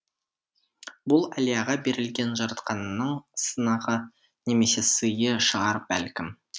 бұл әлияға берілген жаратқанның сынағы немесе сыйы шығар бәлкім